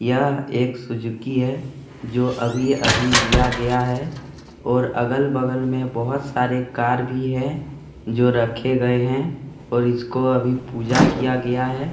यह एक सुजुकी है जो अभी-अभी लिया गया है और अगल-बगल में बोहोत सारे कार भी है जो रखे गए है और इसको अभी पूजा किया गया है।